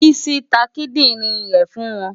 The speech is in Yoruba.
Bísí ta kídìrín rẹ̀ fún wọn.